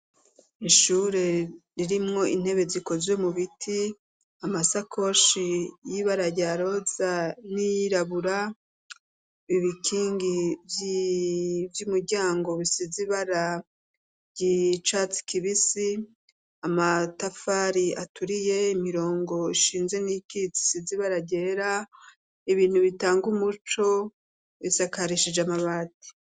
Ishure ririmwo intebe zikozwe mu biti, amasakoshi y'ibara rya roza n'iyirabura, ibikingi vy'umuryango bisize ibara ry'icatsi kibisi, amatafari aturiye, imirongo ishinze ibiti isize ibara ryera, ibintu bitanga umuco isakarishije amabati.